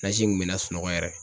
Nasi in kun be n la sunɔgɔ yɛrɛ.